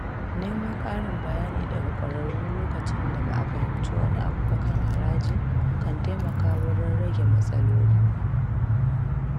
Neman ƙarin bayani daga ƙwararru lokacin da ba'a fahimci wani abu ba kan haraji kan taimaka wurin rage matsaloli.